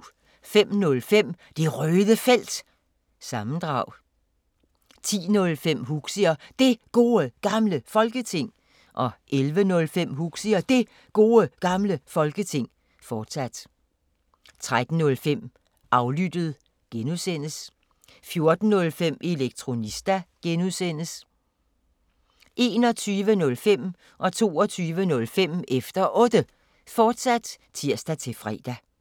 05:05: Det Røde Felt – sammendrag 10:05: Huxi og Det Gode Gamle Folketing 11:05: Huxi og Det Gode Gamle Folketing, fortsat 13:05: Aflyttet (G) 14:05: Elektronista (G) 21:05: Efter Otte, fortsat (tir-fre) 22:05: Efter Otte, fortsat (tir-fre)